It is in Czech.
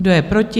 Kdo je proti?